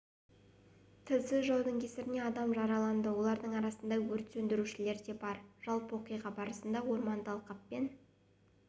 тілсіз жаудың кесірінен адам жараланды олардың арасында өрт сөндірушілер де бар жалпы оқиға барысында орманды алқаппен